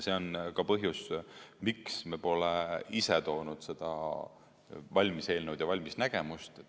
See on ka põhjus, miks me pole ise välja toonud seda valmis eelnõu ja valmis nägemust.